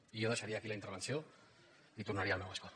i jo deixaria aquí la intervenció i tornaria al meu escó